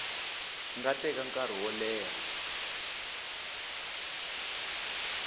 nga teka nkarhi wo leha